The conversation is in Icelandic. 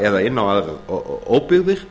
eða inn á óbyggðir